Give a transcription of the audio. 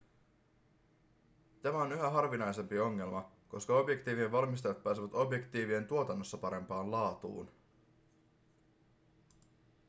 tämä on yhä harvinaisempi ongelma koska objektiivien valmistajat pääsevät objektiivien tuotannossa parempaan laatuun